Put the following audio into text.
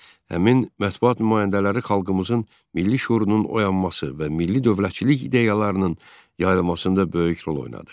Həmin mətbuat nümayəndələri xalqımızın milli şüurunun oyanması və milli dövlətçilik ideyalarının yayılmasında böyük rol oynadı.